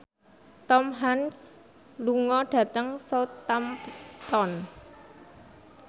Tom Hanks lunga dhateng Southampton